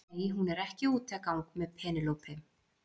Nei, hún er ekki úti að gang með Penélope.